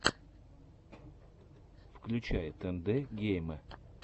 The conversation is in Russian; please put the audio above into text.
включай тэндэ геймэ